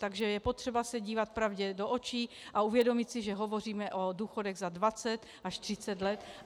Takže je potřeba se dívat pravdě do očí a uvědomit si, že hovoříme o důchodech za 2 až 30 let.